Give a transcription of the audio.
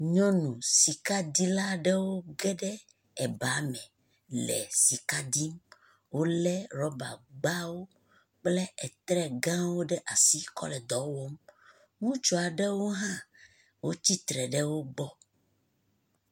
Nyɔnu sikadila aɖewo ge ɖe eba me le sika dim. Wole rɔbagbawo kple etrɛ gãwo ɖe asi kɔ le dɔ wɔm. Ŋutsu aɖewo hã tsi tre ɖe wo gbɔ.